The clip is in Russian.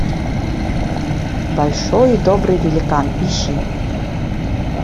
большой и добрый великан ищи